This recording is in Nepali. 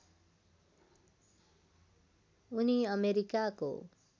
उनी अमेरिकाको